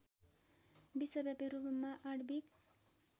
विश्वव्यापी रूपमा आणविक